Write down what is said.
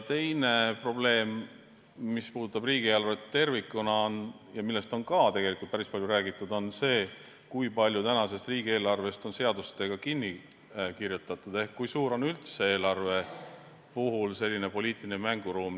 Teine probleem, mis puudutab riigieelarvet tervikuna ja millest samuti on päris palju räägitud, on see, kui palju tänasest riigieelarvest on seadustega kinni kirjutatud ehk kui suur on üldse eelarve puhul poliitiline mänguruum.